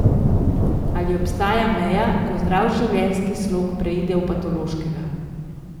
Ali obstaja meja, ko zdrav življenjski slog preide v patološkega?